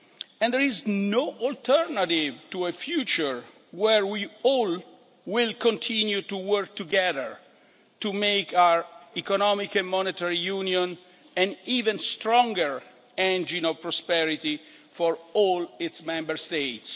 and there is no alternative to a future where we will all continue to work together to make our Economic and Monetary Union an even stronger engine of prosperity for all its Member States.